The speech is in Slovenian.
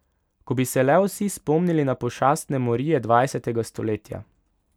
Ko bi se le vsi spomnili na pošastne morije dvajsetega stoletja.